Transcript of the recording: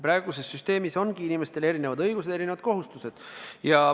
Praeguses süsteemis ongi inimestel erinevad õigused ja erinevad kohustused.